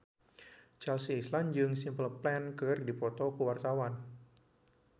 Chelsea Islan jeung Simple Plan keur dipoto ku wartawan